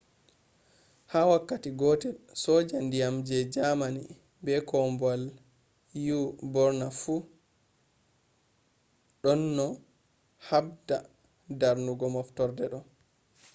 ha wakkati gotel soja dyam je germany be kombowal u burna fu donno habda darnugo moftorde do